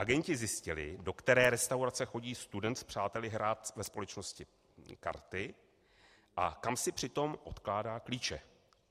Agenti zjistili, do které restaurace chodí student s přáteli hrát ve společnosti karty a kam si přitom odkládá klíče.